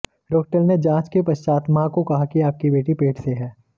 doctor ने जांच के पश्चात मां को कहा कि आपकी बेटी पेट से है